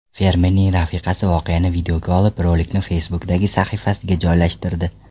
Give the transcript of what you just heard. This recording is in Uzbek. Fermerning rafiqasi voqeani videoga olib, rolikni Facebook’dagi sahifasiga joylashtirdi .